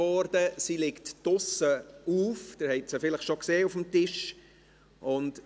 Die Petition liegt draussen auf, Sie haben sie vielleicht schon auf dem Tisch gesehen.